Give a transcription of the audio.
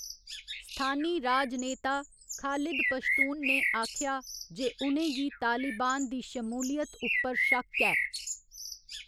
स्थानी राजनेता खालिद पश्तून ने आखेआ जे उ'नें गी तालिबान दी श्मूलियत उप्पर शक्क ऐ।